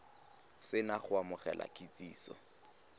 se na go amogela kitsiso